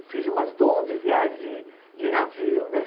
Eu fiz umas onze viagens de de navio, não é?